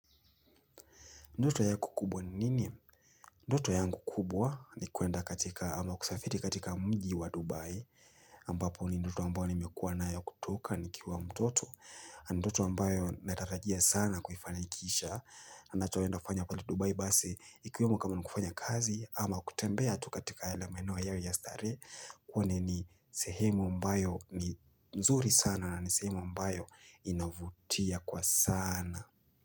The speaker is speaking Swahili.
Ndoto yako kubwa ni nini? Ndoto yangu kubwa ni kuwenda katika ama kusafiri katika mji wa Dubai ambapo ni ndoto ambayo nimekuwa na ya kutoka nikiwa mtoto nu ndoto ambayo natarajia sana kufanikisha Anachoenda kufanya kweli Dubai basi ikuwemo kama nikufanya kazi ama kutembea tu katika yale maeneo yao ya starehe kweli ni sehemu ambayo ni mzuri sana na ni sehemu ambayo inavutia kwa sana.